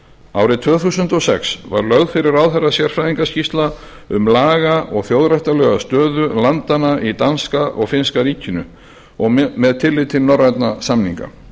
árið tvö þúsund og sex var lögð fyrir ráðherrana sérfræðiskýrsla um laga og þjóðréttarlega stöðu landanna í danska og finnska ríkinu og með tilliti til norrænna samninga